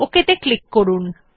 OK ত়ে click করুন